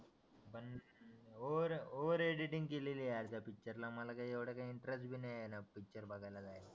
पण over editing केलेली आहे अर्धा पिक्चरला मला काय येवडा काय इंटरेस्ट भी नाय येणार पिक्चर बघायला जायाला